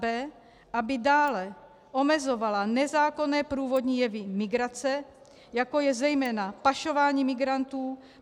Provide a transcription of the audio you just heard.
b) aby dále omezovala nezákonné průvodní jevy migrace, jako je zejména pašování migrantů.